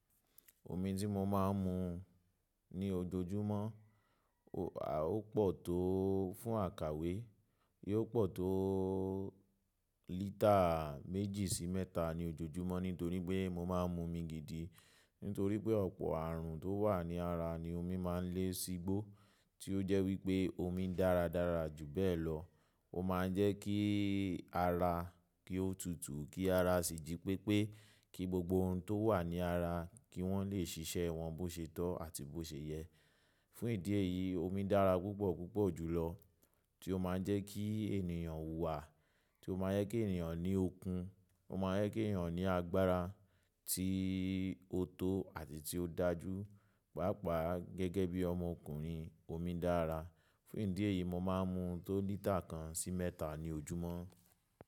Omi tí mo máa ń mu ní ojoojúmọ́, ó pọ̀ tó fún àkàwé, yóò pọ̀ tó lítà méjì sí mẹ́ta ní ojoojúmọ́ nítorí pé mo máa ń mu omi gidi. Nítorí pé ọ̀pọ̀ àrùn tó wà ní ara ni omi máa ń lé sígbó, tí ó jẹ́ wípé omi dára dára jù bẹ́ẹ̀ lọ. Ó máa ń jẹ́ kí ara kí ó tutù, kí ara sì jí pépé, kí gbogbo ohun tó wà ní ara kí wọ́n lè ṣiṣẹ́ wọn bó ṣé tọ́ àti bó ṣé yẹ. Fún ìdí èyí, omi dára púpọ̀ púpọ̀ jùlọ, tí ó máa ń jẹ́ kí ènìyàn hùwà, tí ó máa ń jẹ́ kí ènìyàn ní okun, ó máa ń jẹ́ kí ènìyàn ní agbára tí ó tó àti tí ó dájú. Páápàá gẹ́gẹ́ bí ọmọkùnrin, omi dára. Fún ìdí èyí, mo máa ń mu tó lítà kan sí mẹ́ta ní ojúmọ́.